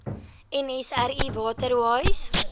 nsri water wise